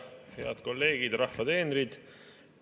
Head kolleegid, rahva teenrid!